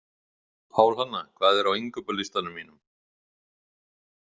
Pálhanna, hvað er á innkaupalistanum mínum?